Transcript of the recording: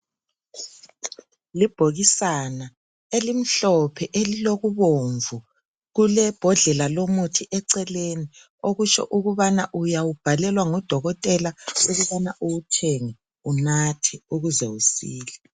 Libhokisana elimhlophe elilokubomvu kulebhodlela lo muthi eceleni okutsho ukubana uyawubhalelwa ngudokotela ukubana uwuthenge unathe ukuze usile .